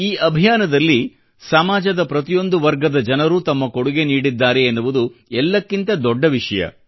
ಈ ಅಭಿಯಾನದಲ್ಲಿ ಸಮಾಜದ ಪ್ರತಿಯೊಂದು ವರ್ಗದ ಜನರೂ ತಮ್ಮ ಕೊಡುಗೆ ನೀಡಿದ್ದಾರೆ ಎನ್ನುವುದು ಎಲ್ಲಕ್ಕಿಂತ ದೊಡ್ಡ ವಿಷಯ